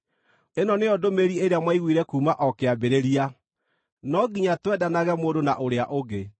Ĩno nĩyo ndũmĩrĩri ĩrĩa mwaiguire kuuma o kĩambĩrĩria: No nginya twendanage mũndũ na ũrĩa ũngĩ.